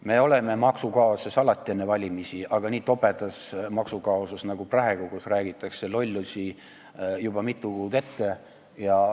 Me oleme alati enne valimisi maksukaoses, aga me ei ole olnud nii tobedas maksukaoses nagu praegu, kui lollusi räägitakse juba mitu kuud ette.